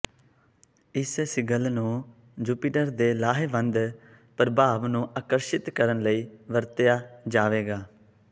ਇਸ ਸਿਗਿਲ ਨੂੰ ਜੁਪੀਟਰ ਦੇ ਲਾਹੇਵੰਦ ਪ੍ਰਭਾਵ ਨੂੰ ਆਕਰਸ਼ਿਤ ਕਰਨ ਲਈ ਵਰਤਿਆ ਜਾਵੇਗਾ